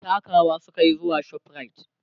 takawa sukayi zuwa Shoprite